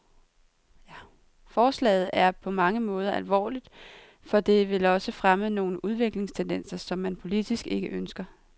Forslaget er på mange måder alvorligt, for det vil også fremme nogle udviklingstendenser, som man politisk ikke ønsker.